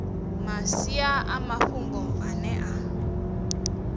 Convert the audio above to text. masia a mafhungo ane a